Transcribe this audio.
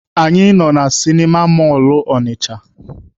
Anyị nọ na sịnịma mọlụ Ọnịcha.